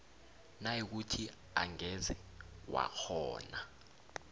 nayikuthi angeze wakghona